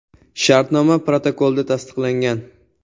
Shartnoma protokolda tasdiqlangan.